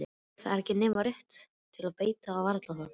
Það var ekki nema rétt til beitar og varla það.